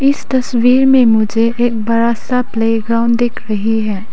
इस तस्वीर में मुझे एक बड़ा सा प्ले ग्राउंड दिख रही है।